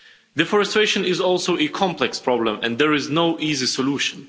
Deforestation is also a complex problem, and there is no easy solution.